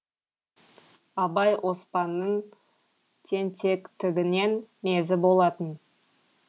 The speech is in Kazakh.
абай оспанның тентектігінен мезі болатын